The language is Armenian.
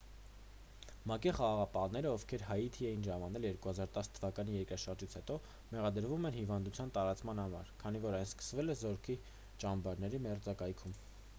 մակ-ի խաղաղապահները ովքեր հայիթի էին ժամանել 2010 թվականի երկրաշարժից հետո մեղադրվում են հիվանդության տարածման համար քանի որ այն սկսվել է զորքի ճամբարների մերձակայքում